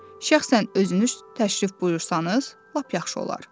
Şəxsən özünüz təşrif buyursanız, lap yaxşı olar.